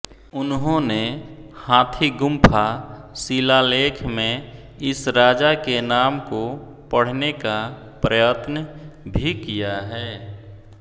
उन्होंने हाथीगुम्फा शिलालेख में इस राजा के नाम को पढ़ने का प्रयत्न भी किया है